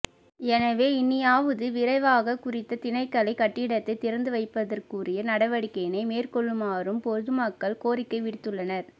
எனவே இனியாவது விரைவாக குறித்த திணைக்கள கட்டிடத்தை திறந்து வைப்பதற்குரிய நடவடிக்கையினை மேற்கொள்ளுமாறும் பொதுமக்கள் கோரிக்கை விடுத்துள்ளனர்